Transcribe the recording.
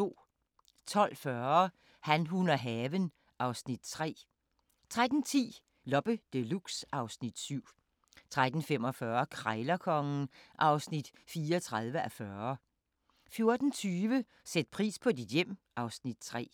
12:40: Han, hun og haven (Afs. 3) 13:10: Loppe Deluxe (Afs. 17) 13:45: Krejlerkongen (34:40) 14:20: Sæt pris på dit hjem (Afs. 3)